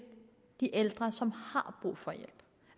de ældre som